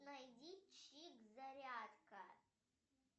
найди чик зарядка